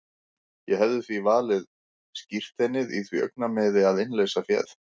Ég hefði því falið skírteinið í því augnamiði að innleysa féð.